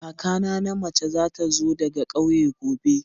Kakana na mace za ta zo daga kauye gobe.